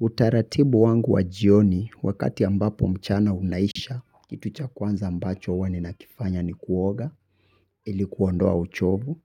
Utaratibu wangu wa jioni wakati ambapo mchana unaisha, kitu cha kwanza ambacho huwa ninakifanya ni kuoga, ili kuondoa uchovu.